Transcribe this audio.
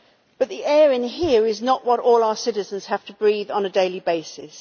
But the air in here is not what all our citizens have to breathe on a daily basis.